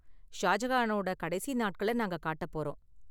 ஷாஜகானோட கடைசி நாட்களை நாங்க காட்ட போறோம்.